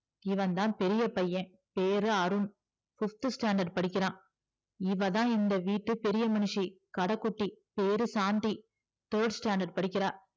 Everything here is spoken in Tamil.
இவன்தான் பெரிய பைய பேரு அருண் fifth standard படிக்கிறா இவதா இந்த வீட்டு பெரிய மனிஷி கட குட்டி பேரு சாந்தி third standard படிக்கிறா